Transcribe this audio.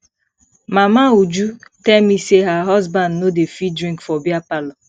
mama uju tell me say her husband no dey fit drink for beer parlor